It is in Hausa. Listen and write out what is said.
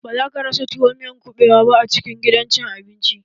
Ba za ka rasa tuwo da miyar kuɓewa a gidan cin abinci